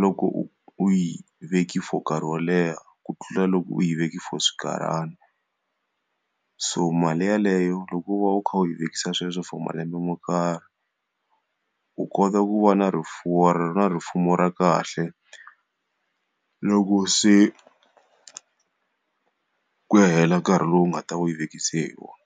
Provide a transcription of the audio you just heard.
loko u yi veke for nkarhi wo leha ku tlula loko u yi veke for xinkarhana. So mali yeleyo loko u va u kha u yi vekisa swilo swi for malembe mo karhi, u kota ku va na rifuwo na rifumo ra kahle loko se ku ya hela nkarhi lowu nga ta ve u yi vekise hi wona.